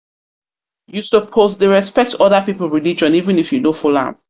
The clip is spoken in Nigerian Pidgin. suppose dey respect other pipu religion even if you no follow am.